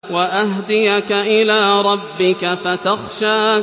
وَأَهْدِيَكَ إِلَىٰ رَبِّكَ فَتَخْشَىٰ